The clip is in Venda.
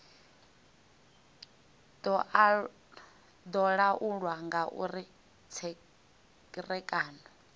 do laulwa nga uri tserekano